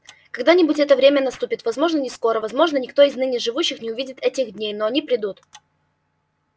когда-нибудь это время наступит возможно не скоро возможно никто из ныне живущих не увидит этих дней но они придут